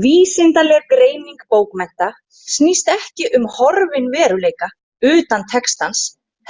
Vísindaleg greining bókmennta snýst ekki um horfinn veruleika utan textans